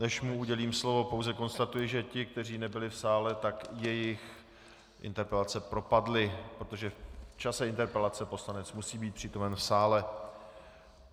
Než mu udělím slovo, pouze konstatuji, že ti, kteří nebyli v sále, tak jejich interpelace propadly, protože v čase interpelace poslanec musí být přítomen v sále.